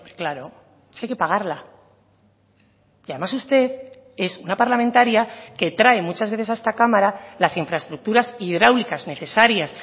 claro si hay que pagarla y además usted es una parlamentaria que trae muchas veces a esta cámara las infraestructuras hidráulicas necesarias